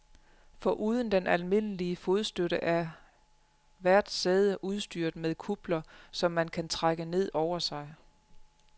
Foruden den almindelige fodstøtte er hvert sæde udstyret med kupler, som man kan trække ned over sig.